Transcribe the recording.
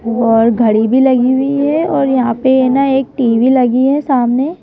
और घड़ी भी लगी हुई है और यहां पे न एक टी_वी लगी है सामने--